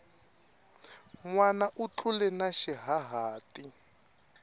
nwana u tlule na xihahati